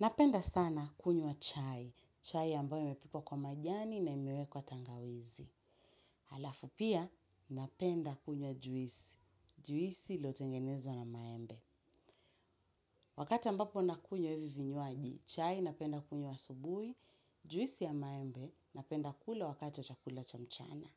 Napenda sana kunywa chai, chai ambayo imepikwa kwa majani na imewekwa tangawizi. Halafu pia, napenda kunywa juisi. Juisi iliyotengenezwa na maembe. Wakati ambapo nakunywa hivi vinywaji, chai, napenda kunywa asubuhi, juisi ya maembe, napenda kula wakati wa chakula cha mchana.